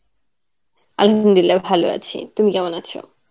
Arbi, ভালো আছি, তুমি কেমন আছো?